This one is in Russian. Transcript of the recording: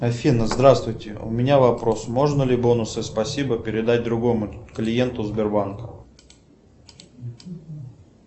афина здравствуйте у меня вопрос можно ли бонусы спасибо передать другому клиенту сбербанка